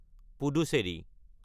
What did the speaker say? Puducherry